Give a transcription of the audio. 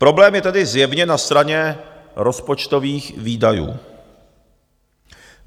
Problém je tedy zjevně na straně rozpočtových výdajů.